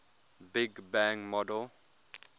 big bang model